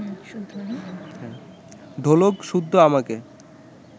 ঢোলক-সুদ্ধ আমাকে